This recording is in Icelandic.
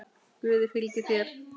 Guð fylgi þér.